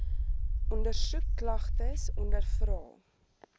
ondersoek klagtes ondervra